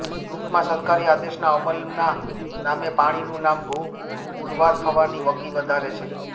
ટૂંકમાં સરકારી આદેશના અમલના નામે પાણીનું નામ ભૂ પુરવાર થવાની વકી વધારે છે